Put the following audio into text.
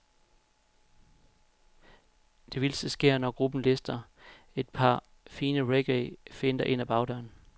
Det vildeste sker, når gruppen lister et par fine reggae-finter ind ad bagdøren.